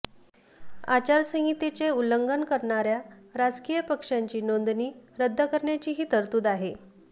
आचारसंहितेचे उल्लंघन करणाऱया राजकीय पक्षांची नोंदणी रद्द करण्याचीही तरतूद आहे